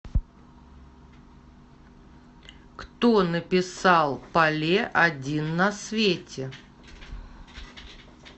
кто написал палле один на свете